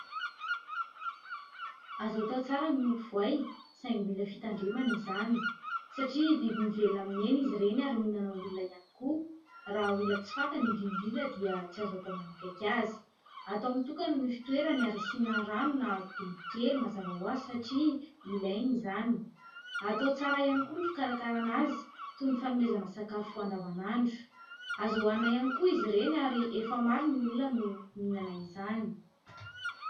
Azo atao tsara miompy voay saingy mila fitandremana izany satria biby mivelona amin'ny hena izy ireny ary mihinana olona ihany koa, raha olona tsy fantany indrindra indrindra dia tsy azo atao manakaiky azy, atao mitokana ny fitoerany ary asina rano na dobo kely mazava ho azy satria ilainy izany, atao tsara ihany koa no fikarakarana azy toy ny fanomezana sakafo andavanandro, azo hohanina ihany koa izy ireny ary efa maro ny olona no mihinana izany.